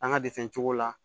An ka de fɛnw la